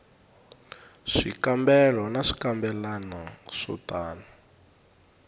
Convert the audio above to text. swikambelo na swikambelwana swo tano